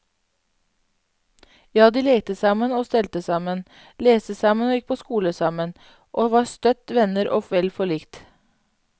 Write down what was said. Ja, de lekte sammen og stelte sammen, leste sammen og gikk på skole sammen, og var støtt venner og vel forlikt.